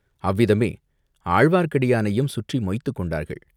அவ்விதமே ஆழ்வார்க்கடியானையும் சுற்றி மொய்த்துக் கொண்டார்கள்.